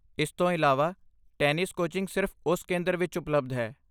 ਇਸ ਤੋਂ ਇਲਾਵਾ, ਟੈਨਿਸ ਕੋਚਿੰਗ ਸਿਰਫ ਉਸ ਕੇਂਦਰ ਵਿੱਚ ਉਪਲਬਧ ਹੈ।